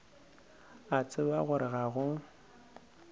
a tseba gore ga go